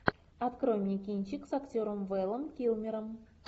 открой мне кинчик с актером вэлом килмером